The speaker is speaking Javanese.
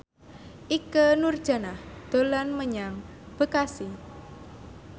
Ikke Nurjanah dolan menyang Bekasi